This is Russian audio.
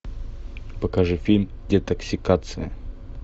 покажи фильм детоксикация